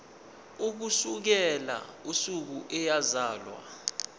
ukusukela usuku eyazalwa